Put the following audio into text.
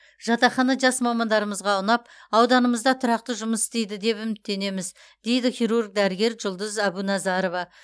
жатақхана жас мамандарымызға ұнап ауданымызда тұрақты жұмыс істейді деп үміттенеміз дейді хирург дәрігер жұлдыз әбуназарова